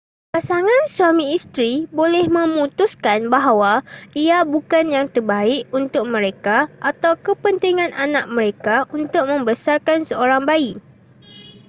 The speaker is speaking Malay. pasangan suami isteri boleh memutuskan bahawa ia bukan yang terbaik untuk mereka atau kepentingan anak mereka untuk membesarkan seorang bayi